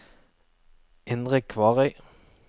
Indre Kvarøy